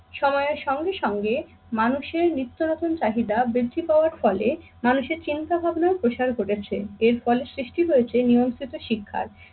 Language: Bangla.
সময়ের সঙ্গে সঙ্গে মানুষের নিত্য নতুন চাহিদা বৃদ্ধি পাওয়ার ফলে মানুষের চিন্তা ভাবনার প্রসার ঘটেছে। এর ফলে সৃষ্টি হয়েছে নিয়ন্ত্রিত শিক্ষার।